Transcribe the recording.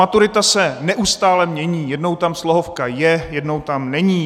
Maturita se neustále mění: jednou tam slohovka je, jednou tam není.